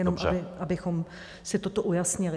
Jenom abychom si toto ujasnili.